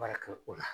Baara kɛ o la